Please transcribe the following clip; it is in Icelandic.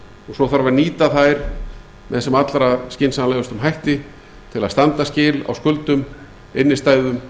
svo þarf að nýta þær með sem allra skynsamlegustum hætti til að standa skil á skuldum innstæðum